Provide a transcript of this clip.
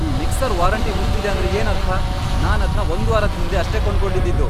ಈ mixer warranty ಮುಗ್ದಿದೆ ಅಂದ್ರೆ ಏನರ್ಥ?!ನಾನದ್ನ ಒಂದ್ವಾರದ್ ಹಿಂದೆ ಅಷ್ಟೇ ಕೊಂಡ್ಕೊಂಡಿದ್ದಿದ್ದು!